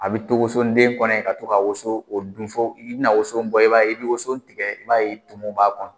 A bi to woso den kɔnɔ in ka to ka woso k'o dun, fɔ i bina woso bɔ, i b'a i bɛ woson tigɛ, i b'a ye tumu b'a kɔnɔ